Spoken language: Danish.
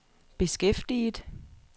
beskæftiget